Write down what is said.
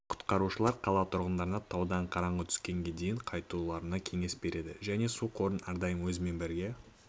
құтқарушылар қала тұрғындарына таудан қараңғы түскенге дейін қайтуларына кеңес береді және су қорын әрдайым өзімен бірге